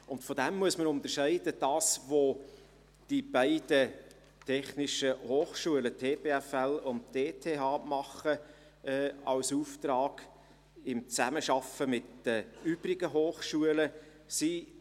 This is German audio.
Davon muss man das unterscheiden, was die beiden technischen Hochschulen EPFL und ETH als Auftrag in Zusammenarbeit mit den übrigen Hochschulen tun.